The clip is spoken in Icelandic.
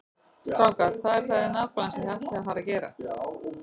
Strákar, hvað er það nákvæmlega sem þið ætlið að fara að gera?